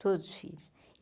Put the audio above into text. Todos filhos.